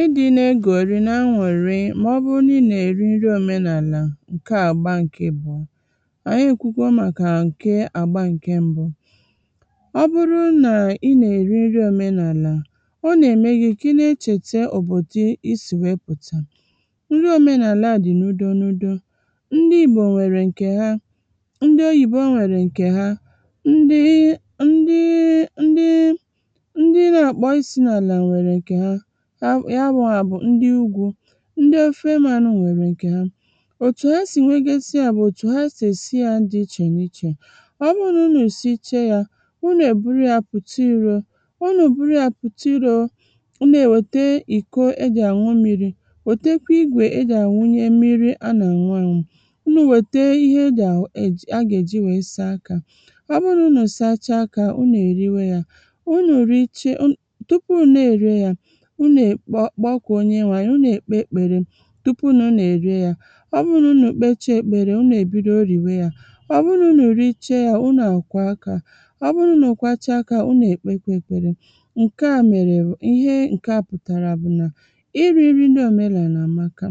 ịdị̇ na egòrì na aṅụ̀rị mà ọ bụrụ nà i nà-èri nri omenàlà ǹkè àgbà ǹke bụ̀ ànyi ekwu kwa màkà ǹke àgbà ǹke mbụ ọ bụrụ nà ị nà-èri nri omenaàlà ọ nà-ème gị̇ kà ị na echèta òbòdo isì wėė pùta nri omenàlà à dì n'udo nudo ndị ìgbò nwèrè ǹkè ha ndị oyìbo nwèrè ǹkè ha ndị ndị ndị ndị na-àkpọ isi nà àlà ya bụ nwà bụ̀ ndị ugwu̇ ndị ofe manụ nwèrè ǹkè ha òtù ha sì nwegasịȧ bụ̀ òtù ha sì èsịȧ jì ichè n’ichè ọ bụrụ nà unù sichee yȧ unù èburu yȧ pụ̀ta irȯ unù buru yȧ pụ̀ta iro unù èwète ìko ejì àṅụ mmiri̇ òtekwe igwè ejì àwunye mmiri a nà ànwụ anwụ̇ unù wète ihe ejì àgà-èji wèe saa akȧ ọ bụ nà unù sachaa akȧ unù èriwe yȧ unù richee unù tupu unù na-ère yȧ unù è kpọ kpọọ kà onye nwȧ unù è kpe ekpere tupu nà unù è rie yȧ ọ bụrụ nà unù kpecha ekpere unù è bido rìwe yȧ ọ bụrụ nà unù iche yȧ unù àkwà akȧ ọ bụrụ nà unù kwacha akȧ unù è kpe kwa ekpere ǹke à mèrè bụ̀ ihe ǹke à pùtàrà bụ̀ nà iri̇ nri ndị òmenàlà àmaka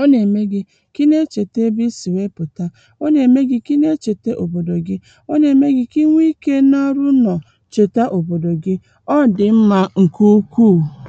ọ nà-ème gị̇ kà ị na-echète ebe isì wėepùta ọ nà-ème gị̇ kà ị na-echète òbòdò gị ọ nà-ème gị̇ kà inwe ikė nȧ rụrụ nọ̀ chète òbòdò gị ọ dị̀ mmȧ ǹkè ukwu ha